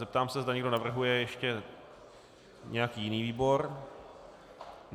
Zeptám se, zda někdo navrhuje ještě nějaký jiný výbor.